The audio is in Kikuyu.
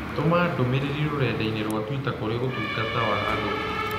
Tũma ndũmĩrĩri rũrenda-inī rũa tũita kũrĩ ũtungata wa agũri